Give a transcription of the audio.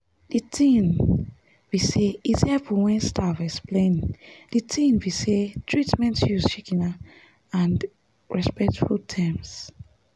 de tin be say it's helpful wen staff explain de tin be say treatments use shikena and respectful terms